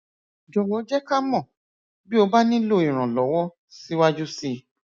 jọwọ jẹ ká mọ bí o bá nílò ìrànlọwọ síwájú síi